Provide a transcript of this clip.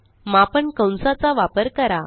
मापन कंस चा वापर करा